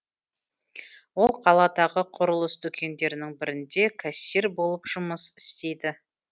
ол қаладағы құрылыс дүкендерінің бірінде кассир болып жұмыс істейді